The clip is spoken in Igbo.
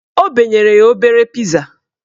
O benyere ya obere piza